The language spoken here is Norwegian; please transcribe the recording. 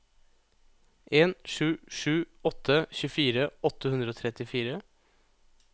en sju sju åtte tjuefire åtte hundre og trettifire